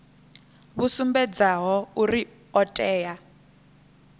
vhu sumbedzaho uri o tea